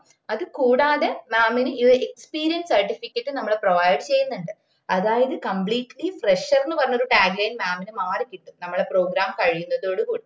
അത് കൂടാതെ mam ന് ഈ ഒര് experience certificate നമ്മള് provide ചെയ്യുന്നുണ്ട് അതായത് completlyfresher എന്നും പറഞ്ഞുള്ള tag linemam ന് മാറി കിട്ടും നമ്മള program കഴിയുന്നതോട് കൂടി